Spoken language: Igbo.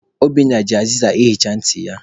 Obinna ji azịza ahụcha ntị ya.